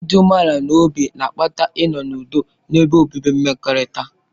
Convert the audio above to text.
Ịdị umeala n'obi na-akpata ịnọ n'ụdo ebe obibi mmekọrịta.